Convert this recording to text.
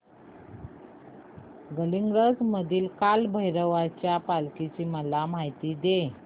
गडहिंग्लज मधील काळभैरवाच्या पालखीची मला माहिती दे